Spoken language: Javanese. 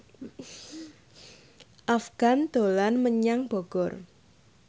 Afgan dolan menyang Bogor